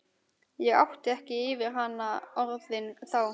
Ég átti ekki yfir hana orðin þá.